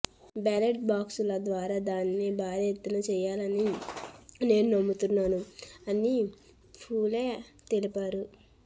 ballot బాక్సుల ద్వారా దాన్ని భర్తీ చేయాలని నేను నమ్ముతున్నాను అని ఫూలే తెలిపారు